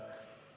Aitäh!